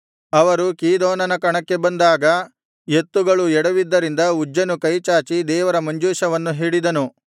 ದಾವೀದನೂ ಎಲ್ಲಾ ಇಸ್ರಾಯೇಲರೂ ಕಿನ್ನರಿ ಸ್ವರಮಂಡಲ ದಮ್ಮಡಿ ತಾಳ ತುತ್ತೂರಿ ಇವುಗಳನ್ನು ಬಾರಿಸುತ್ತಾ ಪೂರ್ಣಾಸಕ್ತಿಯಿಂದ ಗೀತೆಗಳನ್ನು ಹಾಡುತ್ತಾ ದೇವರ ಮುಂದೆ ನರ್ತನ ಮಾಡುತ್ತಾ ಹೋದರು